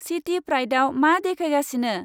चिटि प्राइडाव मा देखायगासिनो?